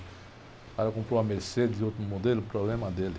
O cara comprou uma Mercedes de outro modelo, problema dele.